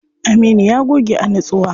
Aminu ya goge a nitsuwa.